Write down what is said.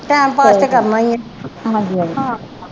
time pass ਤੇ ਕਰਨਾ ਈਆ